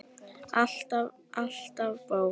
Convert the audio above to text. Alltaf bók.